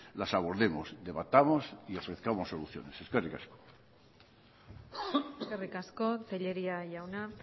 las abordemos debatamos y ofrezcamos soluciones eskerrik asko eskerrik asko tellería jauna